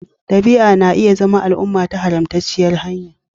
Ɗabi'a na iya zama al'umma ta haramtacciyar hanya